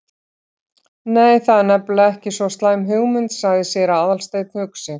Nei, það er nefnilega ekki svo slæm hugmynd- sagði séra Aðalsteinn hugsi.